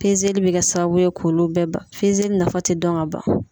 li be kɛ sababu ye k'olu bɛɛ ba fezeli nafa ti dɔn ka ban.